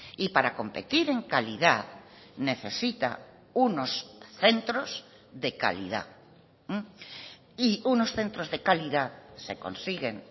y para competir en calidad necesita unos centros de calidad y unos centros de calidad se consiguen